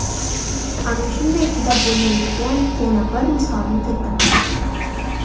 Ana shunday chidab bo‘lmaydigan yana bir misolni keltirmoqchiman.